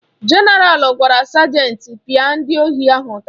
Jenaral gwara sajenti pịa ndị ohi ahụ ụtarị